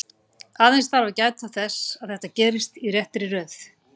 Aðeins þarf að gæta þess að þetta gerist í réttri röð.